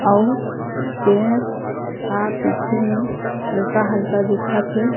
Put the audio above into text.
अउ पेड़ हा पीछे में हल्का -हल्का दिखत हे।